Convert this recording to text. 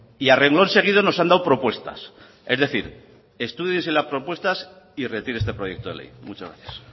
y a renglón seguido nos han dado propuestas es decir estúdiese las propuestas y retire este proyecto de ley muchas gracias